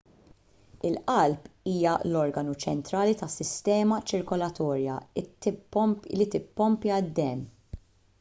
il-qalb hija l-organu ċentrali tas-sistema ċirkolatorja li tippompja d-demm